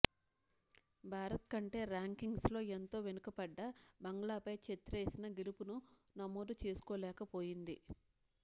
భారత్కంటే ర్యాంకింగ్స్లో ఎంతో వెనుకబడ్డ బంగ్లాపై ఛెత్రీసేన గెలుపును నమోదు చేసుకోలేకపోయింది